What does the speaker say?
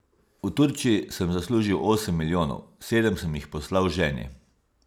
V Turčiji sem zaslužil osem milijonov, sedem sem jih poslal ženi.